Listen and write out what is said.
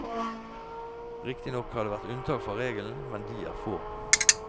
Riktignok har det vært unntak fra regelen, men de er få.